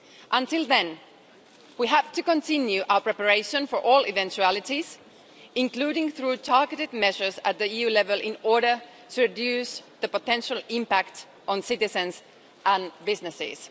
Until then, we have to continue our preparation for all eventualities, including through targeted measures at EU level, in order to reduce the potential impact on citizens and businesses.